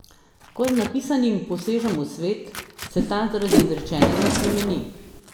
Ko z napisanim posežem v svet, se ta zaradi izrečenega spremeni.